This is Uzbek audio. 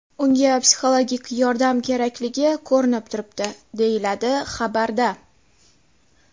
Unga psixologik yordam kerakligi ko‘rinib turibdi, deyiladi xabarda.